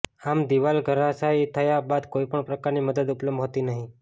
આમ દીવાલ ધરાશાયી થયા બાદ કોઇપણ પ્રકારની મદદ ઉપલબ્ધ હતી નહીં